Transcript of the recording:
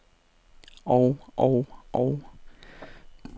og og og